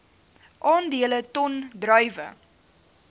aandele ton druiwe